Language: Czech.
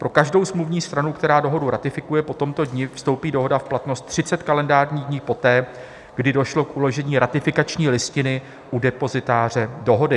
Pro každou smluvní stranu, která Dohodu ratifikuje po tomto dni, vstoupí dohoda v platnost 30 kalendářních dnů poté, kdy došlo k uložení ratifikační listiny u depozitáře dohody.